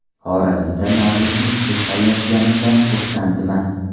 Xorazmda Navro‘zni kutib olayotganimdan xursandman.